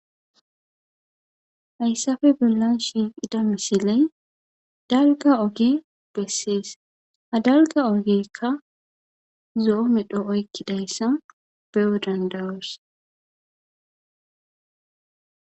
Hayssafe billan shiqida misiley dalga oge bessees ha dalga ogekka zoo medho oykkidayssan bewo dandawoos